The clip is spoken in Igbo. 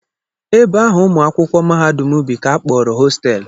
Ebe ahụ ụmụ akwụkwọ mahadum bi ka a kpọrọ hosteelụ